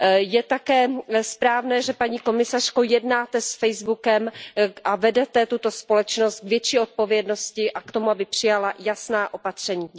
Je také správné, paní komisařko, že jednáte s Facebookem a vedete tuto společnost k větší odpovědnosti a k tomu, aby přijala jasná opatření.